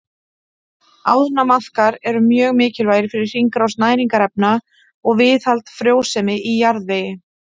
Ánamaðkar eru mjög mikilvægir fyrir hringrás næringarefna og viðhald frjósemi í jarðvegi.